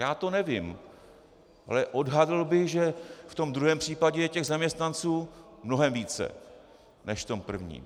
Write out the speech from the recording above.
Já to nevím, ale odhadl bych, že v tom druhém případě je těch zaměstnanců mnohem více než v tom prvním.